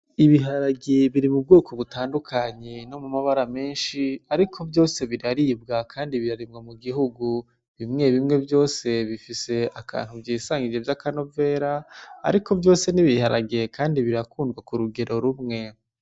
Ibiharage biri mu bwoko butandukanye no mu mabara menshi, ariko vyose biraribwa, kandi birarimwa mu gihugu. Bimwe bimwe vyose bifise akantu vyisangije vy'akanovera, ariko vyose ni ibiharage kandi birakundwa ku rugero rumwe.